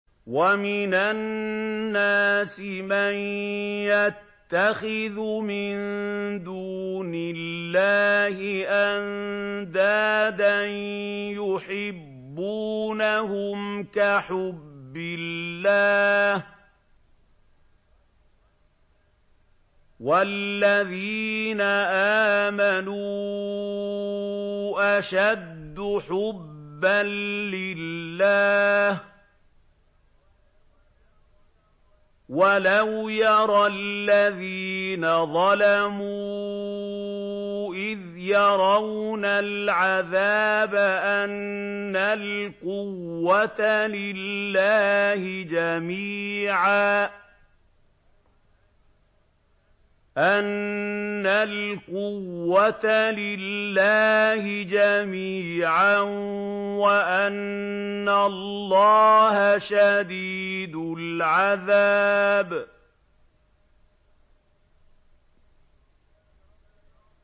وَمِنَ النَّاسِ مَن يَتَّخِذُ مِن دُونِ اللَّهِ أَندَادًا يُحِبُّونَهُمْ كَحُبِّ اللَّهِ ۖ وَالَّذِينَ آمَنُوا أَشَدُّ حُبًّا لِّلَّهِ ۗ وَلَوْ يَرَى الَّذِينَ ظَلَمُوا إِذْ يَرَوْنَ الْعَذَابَ أَنَّ الْقُوَّةَ لِلَّهِ جَمِيعًا وَأَنَّ اللَّهَ شَدِيدُ الْعَذَابِ